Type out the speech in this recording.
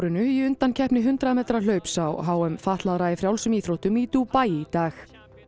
í undankeppni hundrað metra hlaups á h m fatlaðra í frjálsum íþróttum í Dúbaí í dag